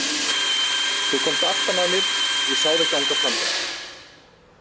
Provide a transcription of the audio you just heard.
Þú komst aftan að mér, ég sá þig ganga framhjá.